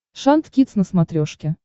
шант кидс на смотрешке